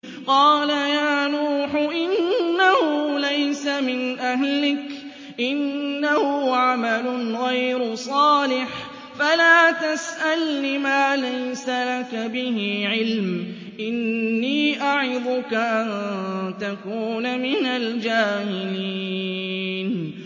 قَالَ يَا نُوحُ إِنَّهُ لَيْسَ مِنْ أَهْلِكَ ۖ إِنَّهُ عَمَلٌ غَيْرُ صَالِحٍ ۖ فَلَا تَسْأَلْنِ مَا لَيْسَ لَكَ بِهِ عِلْمٌ ۖ إِنِّي أَعِظُكَ أَن تَكُونَ مِنَ الْجَاهِلِينَ